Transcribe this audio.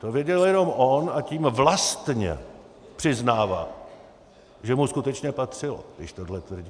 To věděl jenom on, a tím vlastně přiznává, že mu skutečně patřilo, když tohle tvrdí.